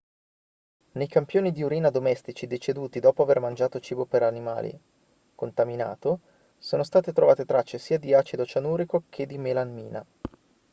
nei campioni di urina domestici deceduti dopo aver mangiato cibo per animali contaminato sono state trovate tracce sia di acido cianurico e che di melamina